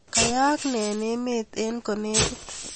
Kayaak nee eng emet eng kolekit